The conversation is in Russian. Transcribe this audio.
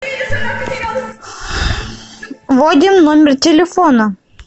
вводим номер телефона